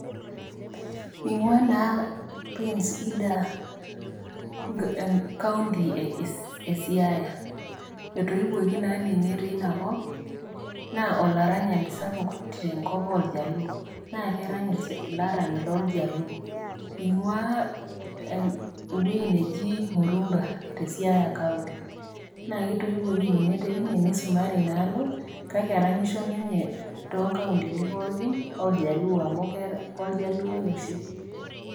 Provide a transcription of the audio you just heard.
Ingua naa prince indda ecountty esiaya, etoiwuoki naa ninye teina kop na olaranyi sapuk tenkop oljaluo na kerany ilanyani loljaluo ingua ewuei najii murunga teb siaya county ,naketoiwiki Ninye to kuatini oljaluo ame keeta oshi oljaluoi.